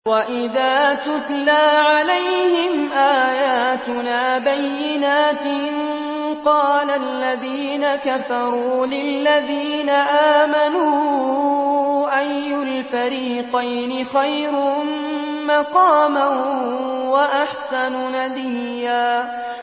وَإِذَا تُتْلَىٰ عَلَيْهِمْ آيَاتُنَا بَيِّنَاتٍ قَالَ الَّذِينَ كَفَرُوا لِلَّذِينَ آمَنُوا أَيُّ الْفَرِيقَيْنِ خَيْرٌ مَّقَامًا وَأَحْسَنُ نَدِيًّا